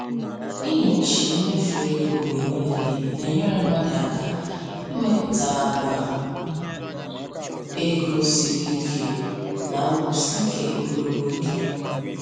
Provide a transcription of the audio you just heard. Ịnyochi mmefu ego mgbe niile na-enyere mmadụ aka ịmepụta àgwà ego siri ike na nkwụsi ike ogologo oge.